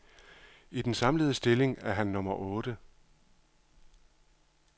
I den samlede stilling er han nummer otte.